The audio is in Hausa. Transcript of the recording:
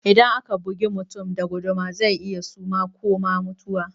Idan aka bugi mutum da guduma zai iya suma ko ma mutuwa